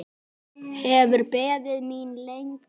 Hefur beðið mín lengi.